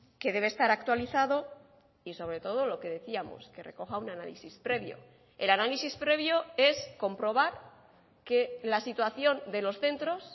que debe estar actualizado y sobre todo lo que decíamos que recoja un análisis previo el análisis previo es comprobar que la situación de los centros